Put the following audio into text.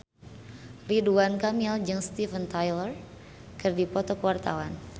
Ridwan Kamil jeung Steven Tyler keur dipoto ku wartawan